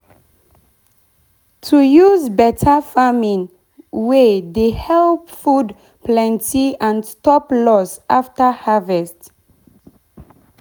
i dey use stick frame hold climbing crop like cucumber and fluted pumpkin.